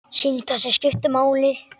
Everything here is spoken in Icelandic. Símtal sem skiptir máli